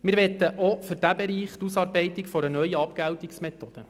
Wir möchten auch für diesen Bereich die Ausarbeitung einer neuen Abgeltungsmethode.